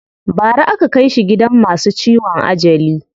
Bara aka kai shi gidan masu ciwon ajali.